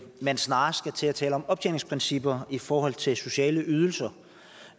man snarest skal til at tale om optjeningsprincipper i forhold til sociale ydelser